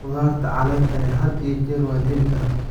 Khudaarta caleenta leh had iyo jeer waa la heli karaa.